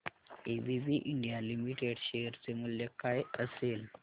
ABB India limited share चे मूल्य काय असेल